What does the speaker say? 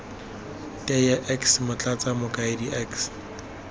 teye x motlatsa mokaedi x